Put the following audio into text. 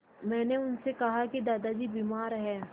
मैंने उनसे कहा कि दादाजी बीमार हैं